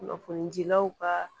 Kunnafonidilaw kaa